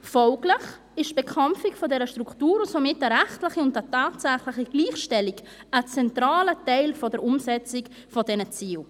Folglich ist die Bekämpfung dieser Struktur und somit eine rechtliche und tatsächliche Gleichstellung ein zentraler Teil der Umsetzung dieser Ziele.